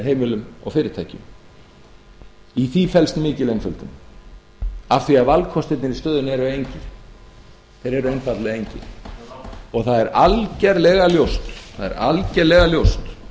heimilum og fyrirtækjum í því felst mikil einföldun af því að valkostirnir í stöðunni eru engir þeir eru einfaldlega engir og það er algerlega ljóst